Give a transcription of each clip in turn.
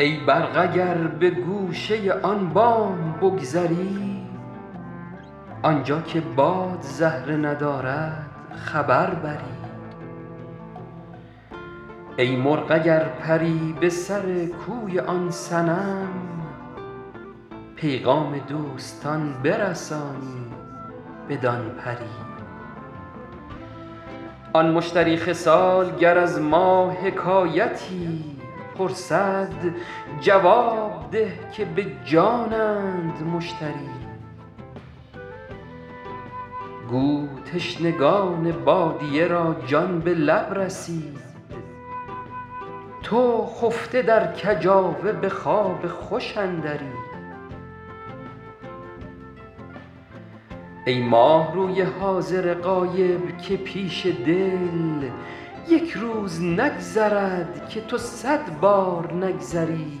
ای برق اگر به گوشه آن بام بگذری آنجا که باد زهره ندارد خبر بری ای مرغ اگر پری به سر کوی آن صنم پیغام دوستان برسانی بدان پری آن مشتری خصال گر از ما حکایتی پرسد جواب ده که به جانند مشتری گو تشنگان بادیه را جان به لب رسید تو خفته در کجاوه به خواب خوش اندری ای ماهروی حاضر غایب که پیش دل یک روز نگذرد که تو صد بار نگذری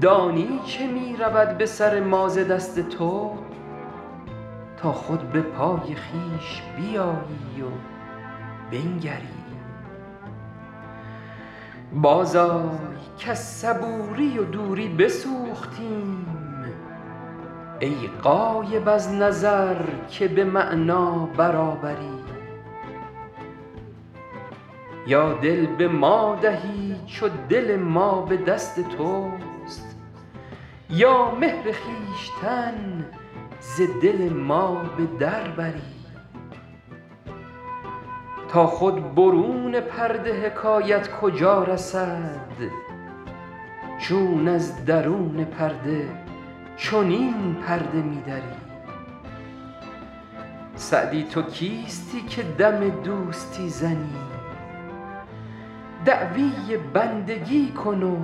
دانی چه می رود به سر ما ز دست تو تا خود به پای خویش بیایی و بنگری بازآی کز صبوری و دوری بسوختیم ای غایب از نظر که به معنی برابری یا دل به ما دهی چو دل ما به دست توست یا مهر خویشتن ز دل ما به در بری تا خود برون پرده حکایت کجا رسد چون از درون پرده چنین پرده می دری سعدی تو کیستی که دم دوستی زنی دعوی بندگی کن و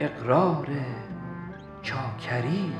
اقرار چاکری